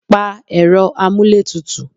Pa Ẹ̀rọ amuletutu.